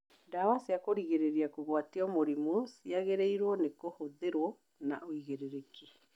Ndawa cia kũrigĩrĩria kũgwatio mũrimũ ciagiriirwo nĩ kũhũthĩrwo na ũigĩrĩki